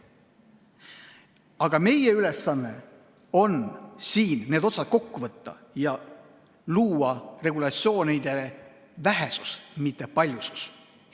Aga meie ülesanne on siin need otsad kokku võtta ja aidata kaasa regulatsioonide vähesusele, mitte paljususele.